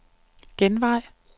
genvej